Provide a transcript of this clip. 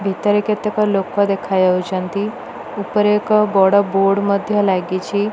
ଭିତରେ କେତେକ ଲୋକ ଦେଖଯାଉଛନ୍ତି। ଉପରେ ଏକ ବଡ଼ ବୋର୍ଡ଼ ମଧ୍ୟ ଲାଗିଛି।